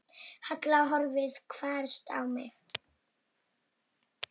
Halla horfði hvasst á mig.